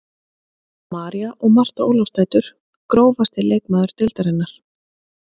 María og Marta Ólafsdætur Grófasti leikmaður deildarinnar?